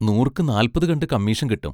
നൂറുക്ക് നാല്പതു കണ്ട് കമ്മീഷൻ കിട്ടും.